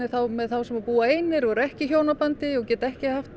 þá með þá sem búa einir og ekki í hjónabandi og geta ekki